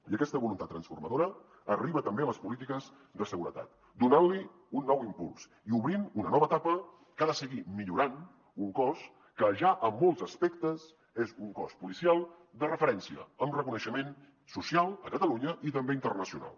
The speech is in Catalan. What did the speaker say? i aquesta voluntat transformadora arriba també a les polítiques de seguretat donant hi un nou impuls i obrint una nova etapa que ha de seguir millorant un cos que ja en molts aspectes és un cos policial de referència amb reconeixement social a catalunya i també internacional